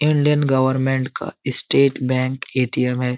Indian government का state bank A T M है।